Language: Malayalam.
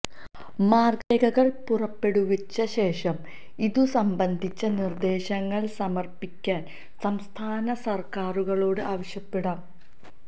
മാര്ഗരേഖകള് പുറപ്പെടുവിച്ച ശേഷം ഇതുസംബന്ധിച്ച നിര്ദേശങ്ങള് സമര്പ്പിക്കാന് സംസ്ഥാന സര്ക്കാറുകളോട് ആവശ്യപ്പെടും